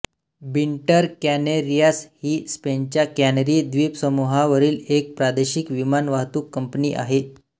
winter Canarias ही स्पेनच्या Canary द्वीपसमूहावरील एक प्रादेशिक विमान वाहतूक कंपनी आहे